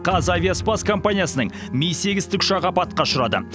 қазавиаспас компаниясының ми сегіз тікұшағы апатқа ұшырады